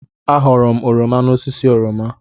Aghọọrọ m oroma n'osisi oroma.